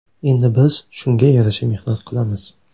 Endi biz shunga yarasha mehnat qilamiz.